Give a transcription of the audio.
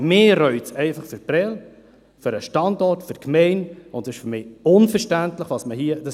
Mich reut es einfach für Prêles, für den Standort, für die Gemeinde, und es ist für mich unverständlich, was man hier tut.